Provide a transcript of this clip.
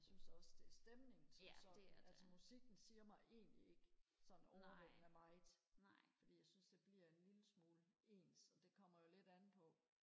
jeg synes da også det er stemningen som sådan altså musikken siger mig egentlig ikke sådan overvældende meget fordi jeg synes det bliver en lille smule ens og det kommer jo lidt an på